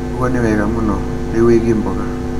ũguo nĩ wega mũno. Rĩu wĩgie mboga